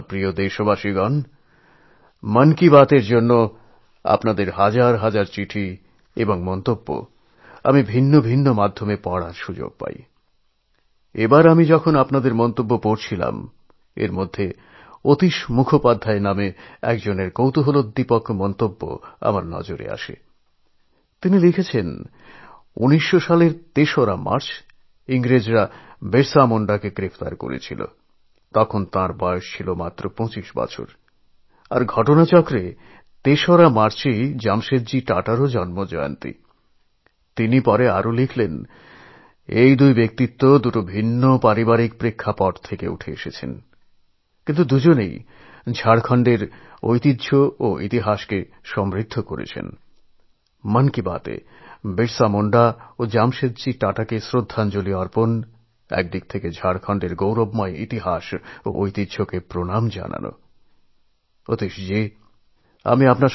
আমার প্রিয় দেশবাসী আমাদের দেশের পূর্ব প্রধানমন্ত্রী মোরারজীভাই দেশাইয়ের জন্ম হয়েছিল২৯শে ফেব্রুয়ারি